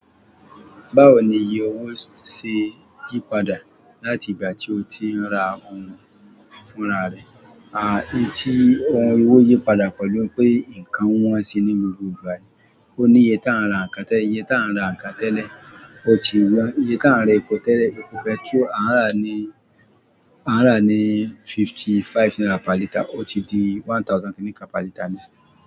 Báwo ni iye owó ṣe yípadà láti ìgbà tí o ti ń ra ohun fúnra rẹ̀? À fì tí owó yípadà pẹ̀lú pé ǹkan wọ́n sì ní gbogbo ìgbà ni. O ní iye ta ń ra nǹkan tẹ́lẹ̀, iye ta ń ra nǹkan tẹ́lẹ̀, o ti wọ́n. Iye ta ń ra epo tẹ́lẹ̀, epo pẹtrólù a ń rà ní, a ń rà ní fifty-five náírà per litre ó ti di one thousand náírà per litre nísìnyí.